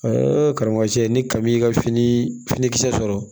karamɔgɔ cɛ ni kami y'i ka fini finikisɛ sɔrɔ